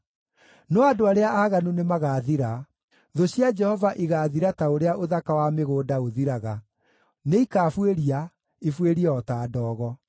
No andũ arĩa aaganu nĩmagathira: Thũ cia Jehova igaathira ta ũrĩa ũthaka wa mĩgũnda ũthiraga, nĩikabuĩria, ibuĩrie o ta ndogo.